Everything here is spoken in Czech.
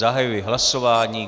Zahajuji hlasování.